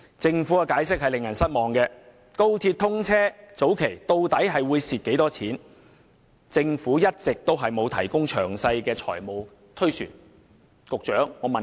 政府的解釋令人十分失望，對於高鐵在通車初期的虧蝕情況，一直沒有提供詳細的財務推算。